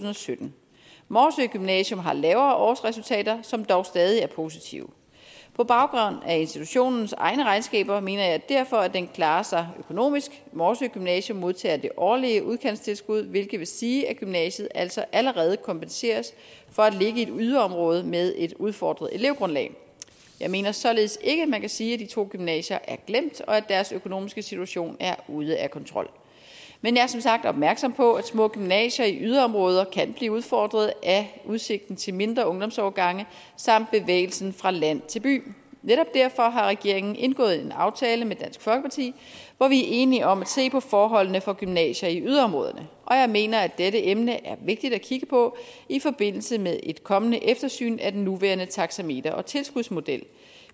sytten morsø gymnasium har lavere årsresultater som dog stadig er positive på baggrund af institutionens egne regnskaber mener jeg derfor at den klarer sig økonomisk morsø gymnasium modtager det årlige udkantstilskud hvilket vil sige at gymnasiet altså allerede kompenseres for at ligge i et yderområde med et udfordret elevgrundlag jeg mener således ikke at man kan sige at de to gymnasier er glemt og at deres økonomiske situation er ude af kontrol men jeg er som sagt opmærksom på at små gymnasier i yderområder kan blive udfordret af udsigten til mindre ungdomsårgange samt bevægelsen fra land til by netop derfor har regeringen indgået en aftale med dansk folkeparti hvor vi er enige om at se på forholdene for gymnasier i yderområderne og jeg mener at dette emne er vigtigt at kigge på i forbindelse med et kommende eftersyn af den nuværende taksameter og tilskudsmodel